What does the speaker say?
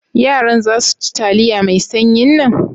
Yaran za su ci taliya mai sanyin nan?